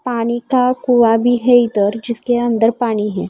पानी का कुआं भी है इधर जिसके अंदर पानी है।